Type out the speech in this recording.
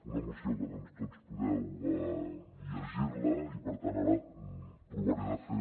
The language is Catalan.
una moció que tots podeu llegir la i per tant ara provaré de fer